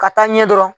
Ka taa ɲɛ dɔrɔn